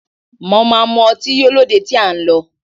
Mo máa mu ọtí yó lóde tí à ń lọ